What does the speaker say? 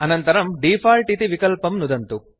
अनन्तरं डिफॉल्ट् इति विकल्पं नुदन्तु